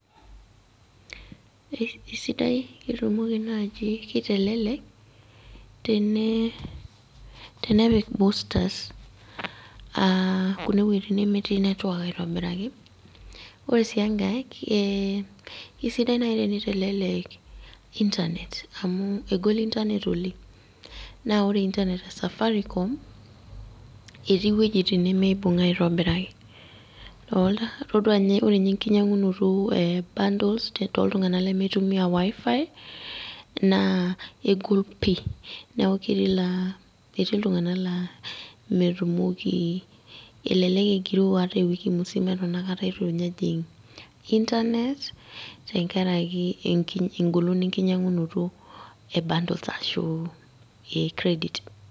Esidai, ketumoki naji kitelelek, tenepik boosters kune weiting nemetii netwak aitobiraki, ore si enkae, kesidai nai teni telelek Internet, amu egol Internet oleng. Na ore Internet e Safaricom, eti wuejiting nemeibung' aitobiraki. Dolta, ore nye enkinyang'unoto e bundles toltung'anak lemeitumia wi-fi, naa egol pi. Neeku ketii laa, etii iltung'anak la metumoki elelek egiroo ata ewiki musima eton akata itu nye ejing' Internet, tenkaraki egolon enkinyang'unoto e bundles ashu e credit.